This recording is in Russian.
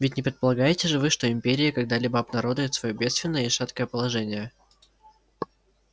ведь не предполагаете же вы что империя когда-либо обнародует своё бедственное и шаткое положение